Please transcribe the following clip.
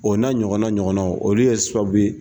O na ɲɔgɔnna ɲɔgɔnnaw olu ye sababuye.